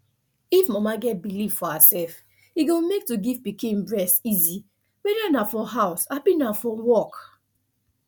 if mama get believe for herself e go make to give pikin breast easy whether na for house abi na for work